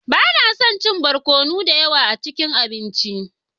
Ba na son chin barkono da yawa a abinci na.